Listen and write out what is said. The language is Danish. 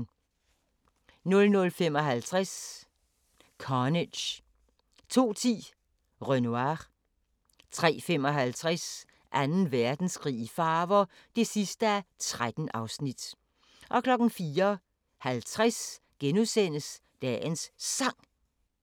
00:55: Carnage 02:10: Renoir 03:55: Anden Verdenskrig i farver (13:13) 04:50: Dagens Sang *